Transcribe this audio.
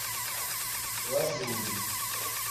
лазурин